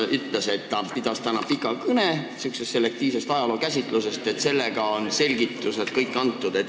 Ta ütles, et ta pidas täna pika kõne sihukesest selektiivsest ajalookäsitlusest ja et sellega on kõik selgitused antud.